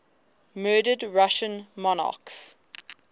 murdered russian monarchs